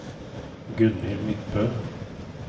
Gunhild Midtbø